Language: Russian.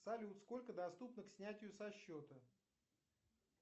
салют сколько доступно к снятию со счета